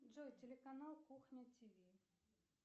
джой телеканал кухня тв